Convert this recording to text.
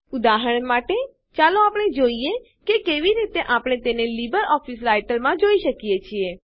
ઉદાહરણ માટે ચાલો આપણે જોઈએ કે કેવી રીતે આપણે તેને લીબરઓફીસ રાઈટરમાં જોઈ શકીએ છીએ